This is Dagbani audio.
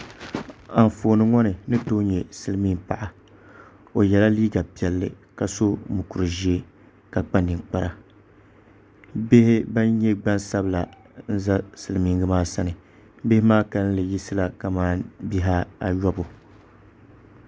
Anfooni ŋɔ ni ni tooi nyɛ silmiin paɣa o yɛla liiga piɛlli ka so mokuru ʒiɛ ka kpa ninkpara bihi ban nyɛ gbansabila n ʒɛ silmiingi maa sani bihi maa kanli yiɣisila kamani Bihi ayobu